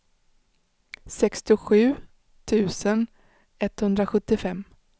sextiosju tusen etthundrasjuttiofem